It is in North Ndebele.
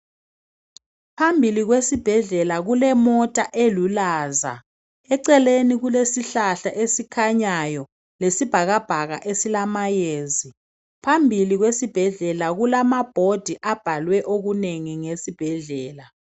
Phambili kwesibhedlela kulemota elulaza eceleni kulesihlahla esikhanyayo lesibhakabhaka esilamayezi. Phambili kwesibhedlela kulama bhodi abhalwe okunengi ngesibhedlela.